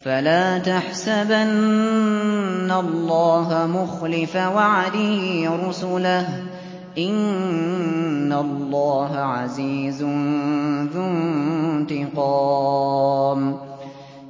فَلَا تَحْسَبَنَّ اللَّهَ مُخْلِفَ وَعْدِهِ رُسُلَهُ ۗ إِنَّ اللَّهَ عَزِيزٌ ذُو انتِقَامٍ